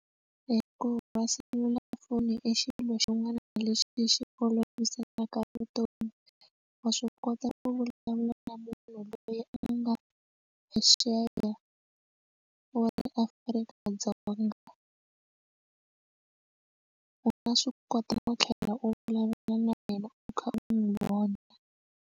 Hi ku va selulafoni i xilo xin'wana lexi xi olovisaka vutomi wa swi kota ku vulavula na munhu loyi a nga ya yena wa eAfrika-Dzonga u nga swi kota no tlhela u vulavula na yena u kha u n'wi vona.